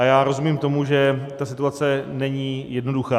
A já rozumím tomu, že ta situace není jednoduchá.